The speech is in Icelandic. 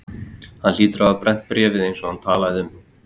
Hann hlýtur að hafa brennt bréfið eins og hann talaði um.